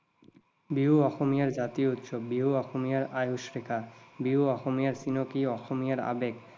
বিহু অসমীয়াৰ জাতীয় উৎসৱ, বিহু অসমীয়াৰ আয়ুস ৰেখা, বিহু অসমীয়াৰ চিনাকী, অসমীয়াৰ আৱেগ।